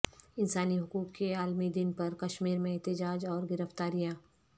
انسانی حقوق کے عالمی دن پر کشمیر میں احتجاج اور گرفتاریاں